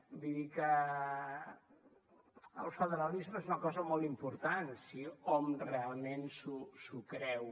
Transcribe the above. vull dir que el federalisme és una cosa molt important si hom realment s’ho creu